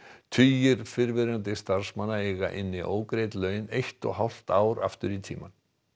tugir fyrrum starfsmanna eiga inni ógreidd laun eitt og hálft ár aftur í tímann